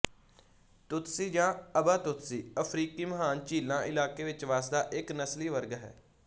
Tutsi ਜਾਂ Abatutsi ਅਫ਼ਰੀਕੀ ਮਹਾਨ ਝੀਲਾਂ ਇਲਾਕੇ ਵਿੱਚ ਵਸਦਾ ਇੱਕ ਨਸਲੀ ਵਰਗ ਹੈ